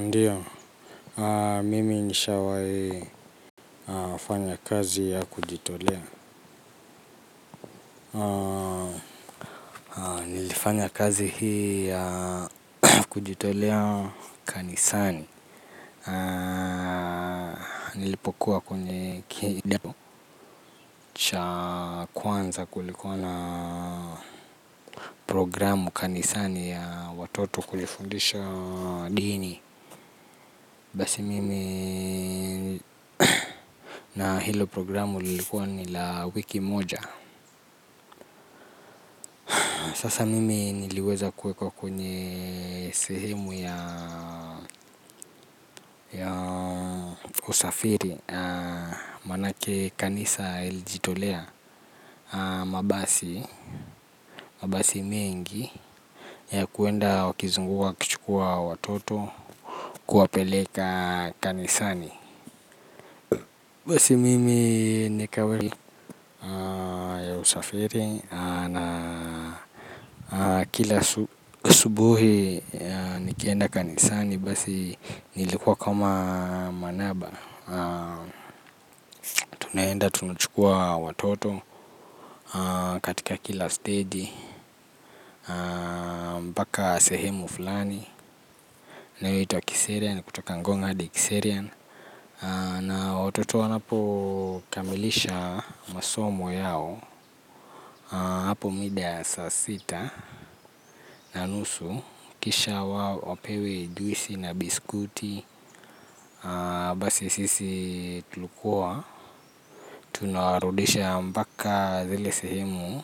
Ndio mimi nishawahi fanya kazi ya kujitolea nilifanya kazi hii ya kujitolea kanisani nilipokuwa kwenye kidato cha kwanza kulikuwa na programu kanisani ya watoto kujifundisha dini basi mimi na hilo programu lilikuwa ni la wiki moja. Sasa mimi niliweza kuekwa kwenye sehemu ya usafiri manake kanisa ilijitolea mabasi mengi ya kwenda wakizunguka wakichukua watoto kuwapeleka kanisani basi mimi nikawekwa ya usafiri na kila asubuhi nikienda kanisani nilikuwa kama manaba. Tunaenda tunachukua watoto katika kila stegi mpaka sehemu fulani inayoitwa kiserian kutoka ngong hadi kiserian na watoto wanapokamilisha masomo yao hapo mida ya saa sita na nusu kisha wao wapewe ndizi na biscuti. Basi sisi tulikuwa tunawarudisha mpaka zile sehemu